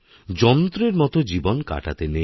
যন্ত্রের মতো জীবন কাটাতে নেই